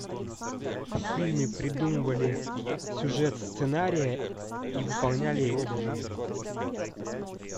в фильме придумывали сюжет сценария и выполняли его в жизнь